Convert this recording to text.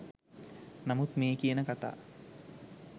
නමුත් මේ කියන කතා